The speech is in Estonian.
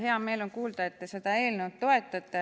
Hea meel on kuulda, et te seda eelnõu toetate.